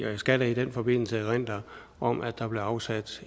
jeg skal da i den forbindelse erindre om at der blev afsat